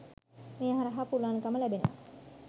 මේ හරහා පුළුවන්කම ලැබෙනවා.